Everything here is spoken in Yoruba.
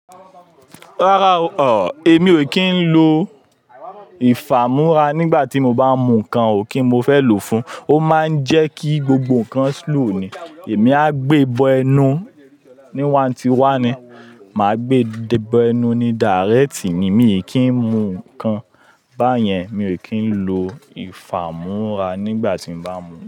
Rárá o, èmi o kí ń lo ìfàmúrá nígbà tí mo bá mú nǹkan ò kí n mo fẹ́ lò fún un. O máa ń jẹ́ kí gbogbo nǹkan slow ni. Èmi á gbé bọ ẹnu ní wan ti wa ni, mà á gbé bọ ẹnu ní direct ni. Mi ò kí ń mú nǹkan. Báyẹn mi ò kí ń lo ìfàmúrá nígbà tí mo bá mú.